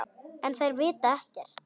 En þær vita ekkert.